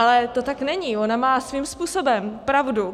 Ale to tak není, ona má svým způsobem pravdu.